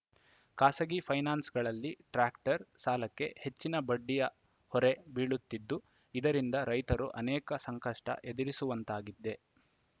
ಖಾಸಗಿ ಪೈನಾನ್ಸ್‌ಗಳಲ್ಲಿ ಟ್ಯಾಕ್ಟರ್‌ ಸಾಲಕ್ಕೆ ಹೆಚ್ಚಿನ ಬಡ್ಡಿಯ ಹೊರೆ ಬೀಳುತ್ತಿದ್ದು ಇದರಿಂದ ರೈತರು ಅನೇಕ ಸಂಕಷ್ಟಎದುರಿಸುವಂತಾಗಿದೆ